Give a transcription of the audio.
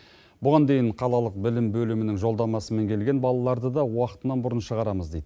бұған дейін қалалық білім бөлімінің жолдамасымен келген балаларды да уақытынан бұрын шығарамыз дейді